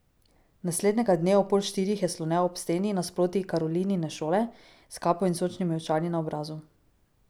Naslednjega dne o pol štirih je slonel ob steni nasproti Karolinine šole, s kapo in sončnimi očali na obrazu.